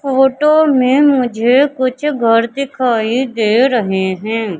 Photo में मुझे कुछ घर दिखाई दे रहें हैं।